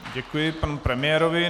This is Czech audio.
Děkuji panu premiérovi.